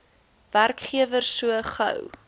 werkgewer so gou